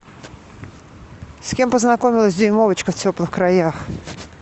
с кем познакомилась дюймовочка в теплых краях